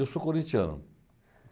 Eu sou corintiano.